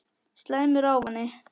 Slæmur ávani